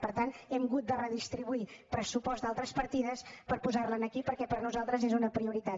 per tant hem hagut de redistribuir pressupost d’altres partides per posarlo aquí perquè per nosaltres és una prioritat